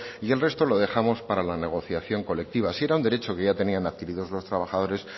y el resto lo dejamos para la negociación colectiva si era un derecho que ya tenían adquiridos los trabajadores